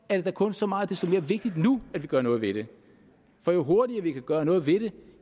det da kun så meget desto mere vigtigt nu at vi gør noget ved det for jo hurtigere vi kan gøre noget ved det